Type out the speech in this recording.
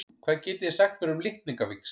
Hvað getið þið sagt mér um litningavíxl?